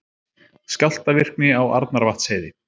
Skjálftavirkni á Arnarvatnsheiði